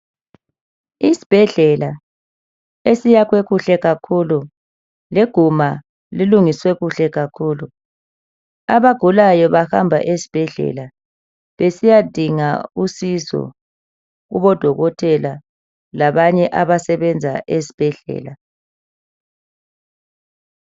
Isbhedlela esiyakhwe kuhle kakhulu leguma lilungiswe kuhle kakhulu, abagulayo bahamba esbhedlela besiyadinga usizo kubodokotela labanye abasebenza esibhedlela.